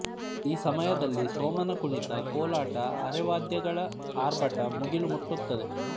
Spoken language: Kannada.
ಈ ಸಮಯದಲ್ಲಿ ಸೋಮನಕುಣಿತ ಕೋಲಾಟ ಅರೆವಾದ್ಯಗಳ ಆರ್ಭಟ ಮುಗಿಲು ಮುಟ್ಟುತ್ತದೆ